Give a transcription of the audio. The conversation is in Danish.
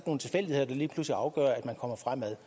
nogle tilfældigheder der lige pludselig afgør at man kommer fremad